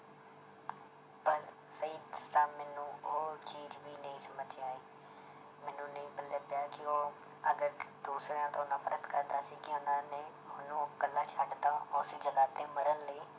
ਪਰ ਸਹੀ ਦੱਸਾਂ ਮੈਨੂੰ ਉਹ ਚੀਜ਼ ਵੀ ਨਹੀਂ ਸਮਝ 'ਚ ਆਈ ਮੈਨੂੰ ਨਹੀਂ ਪੱਲੇ ਪਿਆ ਕਿ ਉਹ ਅਗਰ ਦੂਸਰਿਆਂ ਤੋਂ ਨਫ਼ਰਤ ਕਰਦਾ ਸੀ ਕਿ ਉਹਨਾਂ ਨੇ ਉਹਨੂੰ ਇਕੱਲਾ ਛੱਡ ਦਿੱਤਾ ਉਸ ਜਗ੍ਹਾ ਤੇ ਮਰਨ ਲਈ